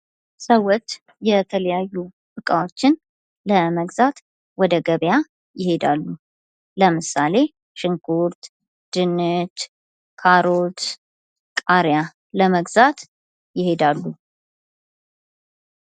ሰዎች የተለያዩ እቃዎችን ለመግዛት ወደ ገበያ ይሄዳሉ ። ለምሳሌ ሽንኩርት ፣ ድንች ፣ ካሮት ፣ ቃሪያ ለመግዛት ይሄዳሉ ።